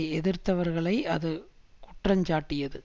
எதிர்த்தவர்களை அது குற்றஞ்சாட்டியது